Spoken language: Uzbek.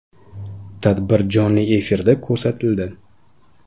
Tadbir jonli efirda ko‘rsatildi.